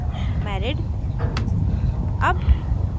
marital status में married